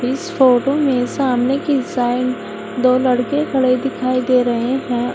इस फोटो में सामने की साइड दो लड़के खड़े दिखाई दे रहे है।